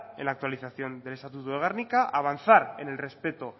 en la actualización del estatuto de gernika avanzar en el respeto